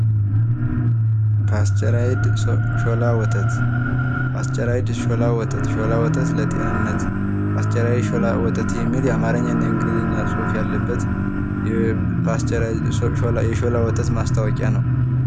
ፓስተራይድ ሾላ ወተት ፓስተራይድ ሾላ ወተት ሾላ ወተት ለጤንነት ፓስተራይድ ሾላ ወተት የሚል የአማርኛ እና የእንግሊዝኛ ጽሑፍ ያለበት የሾላ ወተት ማስታወቂያ ነው።